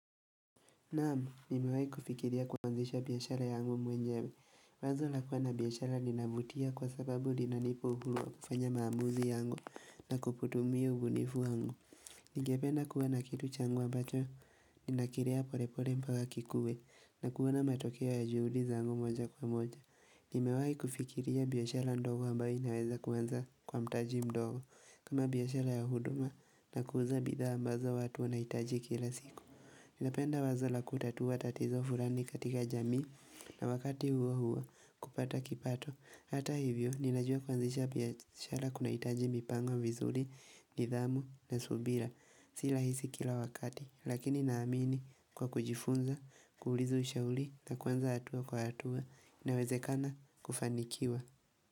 Naamu, nimewai kufikiria kuanzisha biashara yangu mwenyewe. Wazo lakua na biashara linavutia kwa sababu linanipa uhuru wa kufanya maamuzi yangu na kuputumia ubunifu yangu. Nigependa kuwana kitu changu ambacho, ninakirea polepole mpaka kikue, na kuona matokea ya juhudi zangu moja kwa moja. Nimewai kufikiria biyashara ndogo ambayo inaweza kuanza kwa mtaji mdogo. Kama biyashara ya huduma na kuuza bidha ambazo watu wanaitaji kila siku. Napenda wazo la kutatua tatizo furani katika jamii na wakati huo huo kupata kipato Hata hivyo ninajua kuanzisha biashara kuna itaji mipango vizuli, nidhamu na subira Sila hisi kila wakati lakini naamini kwa kujifunza, kuuliza ushauli na kuanza atua kwa atua na weze kana kufanikiwa.